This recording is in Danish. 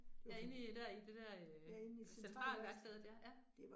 Ja inde i dér i det der øh Centralværkstedet ja ja